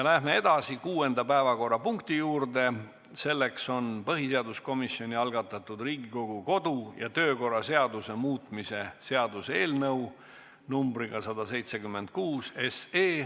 Läheme edasi kuuenda päevakorrapunkti juurde, selleks on põhiseaduskomisjoni algatatud Riigikogu kodu- ja töökorra seaduse muutmise seaduse eelnõu numbriga 176.